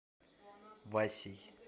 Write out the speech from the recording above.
васей